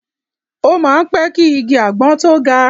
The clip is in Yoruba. O máa ń pẹ́ ki igi àgbọn tó ga.